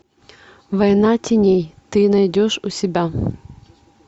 война теней ты найдешь у себя